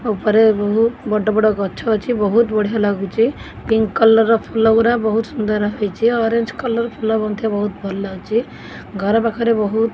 ଉପରେ ବହୁ ବଡ଼ ବଡ଼ ଗଛ ଅଛି ବହୁତ୍ ବଢିଆ ଲାଗୁଛି ପିଙ୍କ୍ କଲରର ଫୁଲ ଗୁରା ବହୁତ୍ ସୁନ୍ଦର୍ ହେଇଛି ଅରେଞ୍ଜ କଲର ଫୁଲ ମଧ୍ୟ ବହୁତ୍ ଭଲ ଲାଗୁଚି ଘର ପାଖରେ ବହୁତ୍ --